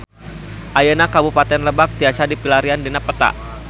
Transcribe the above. Ayeuna Kabupaten Lebak tiasa dipilarian dina peta